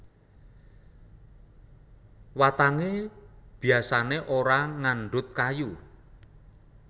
Watangé biasané ora ngandhut kayu